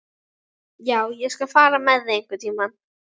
Já, ég skal fara með þig einhvern tíma.